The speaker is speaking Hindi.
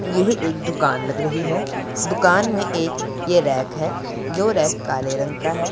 यही एक दुकान लग रही है दुकान में एक ये रैक है जो रैक काले रंग का है।